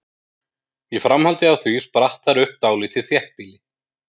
Í framhaldi af því spratt þar upp dálítið þéttbýli.